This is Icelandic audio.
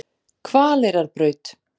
Hvaleyrarbraut